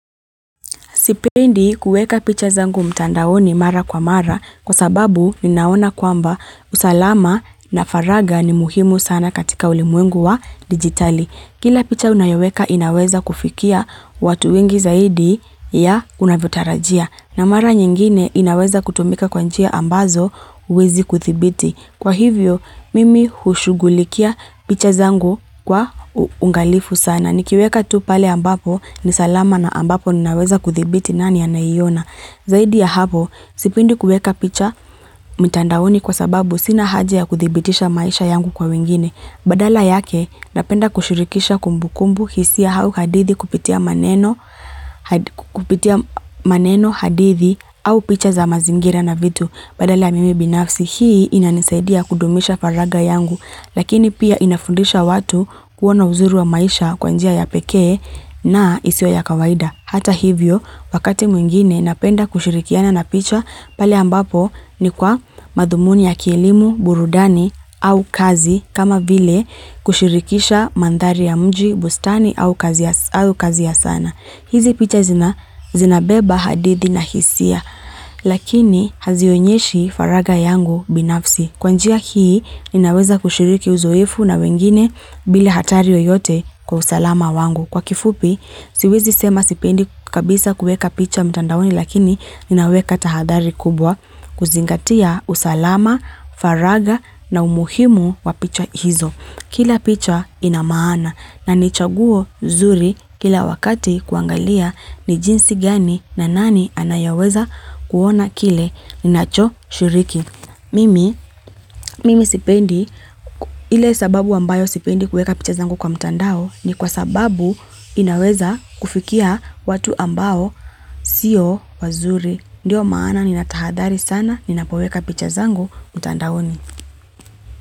Sipendi kueka picha zangu mtandaoni mara kwa mara kwa sababu ninaona kwamba usalama na faragha ni muhimu sana katika ulimwengu wa dijitali. Kila picha unayoweka inaweza kufikia watu wengi zaidi ya unavyotarajia. Na mara nyingine inaweza kutumika kwa njia ambazo huwezi kudhibiti. Kwa hivyo, mimi hushughulikia picha zangu kwa uangalifu sana. Na nikiweka tu pale ambapo ni salama na ambapo ninaweza kuthibiti nani anaiyona Zaidi ya hapo, sipendi kueka picha mtandaoni kwa sababu sina haja ya kudhibitisha maisha yangu kwa wengine. Badala yake, napenda kushirikisha kumbukumbu hisia au hadithi kupitia maneno hadithi au picha za mazingira na vitu. Badala ya mimi binafsi, hii inanisaidia kudumisha faragha yangu, lakini pia inafundisha watu kuona uzuri wa maisha kwa njia ya pekee na isiyo ya kawaida. Hata hivyo, wakati mwingine napenda kushirikiana na picha, pale ambapo ni kwa madhumuni ya kielimu, burudani au kazi kama vile kushirikisha mandhari ya mji, bustani au kazi ya sana. Hizi picha zinabeba hadithi na hisia lakini hazionyeshi faragha yangu binafsi. Kwanjia hii ninaweza kushiriki uzoefu na wengine bile hatari yoyote kwa usalama wangu. Kwa kifupi, siwezi sema sipendi kabisa kueka picha mtandaoni lakini ninaweka tahadhari kubwa kuzingatia usalama, faragha na umuhimu wa picha hizo. Kila picha ina maana na nichaguo nzuri kila wakati kuangalia ni jinsi gani na nani anayeweza kuona kile ninacho shiriki. Mimi, mimi sipendi ile sababu ambayo sipendi kuweka picha zangu kwa mtandao ni kwa sababu inaweza kufikia watu ambao siyo wazuri. Ndiyo maana ninatahadhari sana ninapoweka picha zangu mtandaoni.